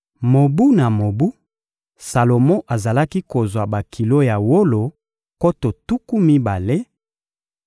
Mobu na mobu, Salomo azalaki kozwa bakilo ya wolo nkoto tuku mibale,